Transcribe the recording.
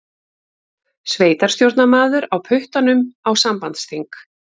Sveitarstjórnarmaður á puttanum á sambandsþing